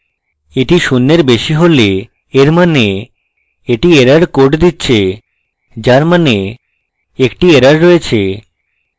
এটি শূন্যের বেশী হলে এর means এটি error code দিচ্ছে যার means একটি error রয়েছে